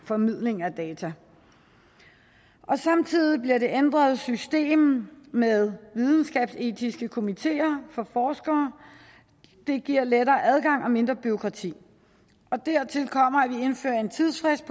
formidling af data samtidig bliver det ændrede system med videnskabsetiske komiteer for forskere det giver lettere adgang og mindre bureaukrati dertil kommer at vi indfører en tidsfrist